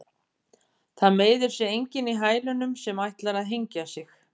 Það meiðir sig enginn í hælunum sem ætlar að hengja sig.